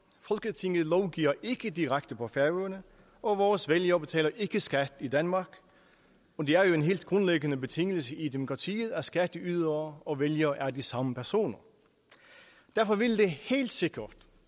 folketinget lovgiver ikke direkte på færøerne og vores vælgere betaler ikke skat i danmark det er jo en helt grundlæggende betingelse i demokratiet at skatteydere og vælgere er de samme personer derfor ville det helt sikkert